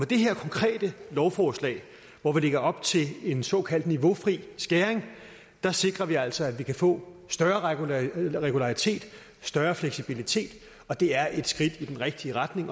det her konkrete lovforslag hvor vi lægger op til en såkaldt niveaufri skæring sikrer vi altså at vi kan få større regularitet regularitet større fleksibilitet og det er et skridt i den rigtige retning